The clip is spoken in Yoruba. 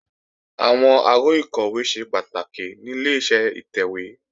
Àwọn aró ìkọ̀wé ṣe pàtàkì ní Ileṣẹ́ ìtẹ̀wé